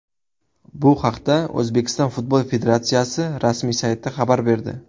Bu haqda O‘zbekiston Futbol Federatsiyasi rasmiy sayti xabar berdi .